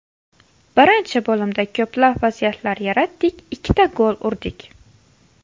Birinchi bo‘limda ko‘plab vaziyatlar yaratdik, ikkita gol urdik.